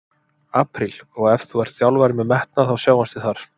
Apríl, og ef þú ert þjálfari með metnað- þá sjáumst við þar!